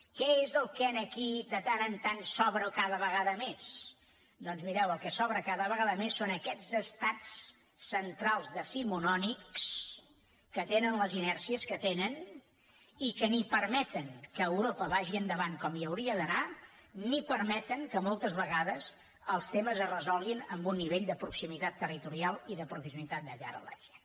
què és el que aquí de tant en tant sobra i cada vegada més doncs mireu el que sobra cada vegada més són aquests estats centrals decimonònics que tenen les inèrcies que tenen i que ni permeten que europa vagi endavant com hi hauria d’anar ni permeten que moltes vegades els temes es resolguin en un nivell de proximitat territorial i de proximitat de cara a la gent